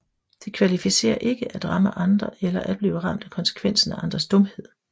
Det kvalificerer ikke at ramme andre eller at blive ramt af konsekvensen af andres dumhed